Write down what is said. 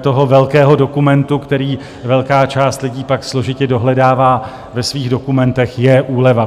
toho velkého dokumentu, který velká část lidí pak složitě dohledává ve svých dokumentech, je úleva.